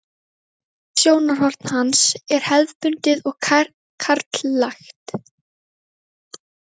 Fræðilegt sjónarhorn hans er hefðbundið og karllægt.